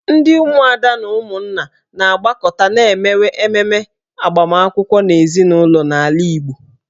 Ndị ụmụada na ụmụnna na-agbakọta ma emewe emume agbamakwụkwọ n'ezinụlọ n'ala Igbo.